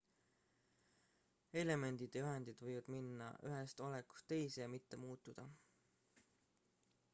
elemendid ja ühendid võivad minna ühest olekust teise ja mitte muutuda